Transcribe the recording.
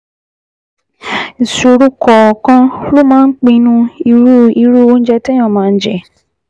Ìṣòro kọ̀ọ̀kan ló máa ń pinnu irú irú oúnjẹ téèyàn máa jẹ